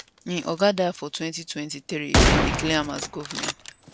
im oga die for 2023 dem declare am as govnor